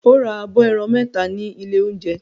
O ra abọ́ ẹran mẹ́ta ní ilé-oúnjẹ?